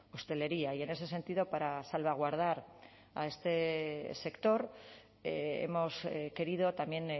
hostelería y en ese sentido para salvaguardar a este sector hemos querido también